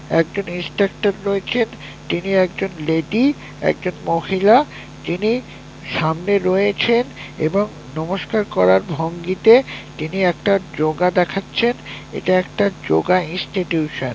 একজন ইন্সট্রাক্টর রয়েছেন তিনি একজন লেডি একজন মহিলা যিনি সামনে রয়েছেন এবং নমস্কার করার ভঙ্গিতে তিনি একটা যোগা দেখাচ্ছেন এটা একটা যোগা ইনস্টিটিউশন ।